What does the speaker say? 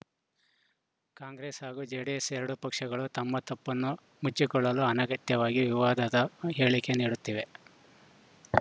ಕಾಂಗ್ರೆಸ್‌ ಹಾಗೂ ಜೆಡಿಎಸ್‌ ಎರಡೂ ಪಕ್ಷಗಳು ತಮ್ಮ ತಪ್ಪನ್ನು ಮುಚ್ಚಿಕೊಳ್ಳಲು ಅನಗತ್ಯವಾಗಿ ವಿವಾದದ ಹೇಳಿಕೆ ನೀಡುತ್ತಿವೆ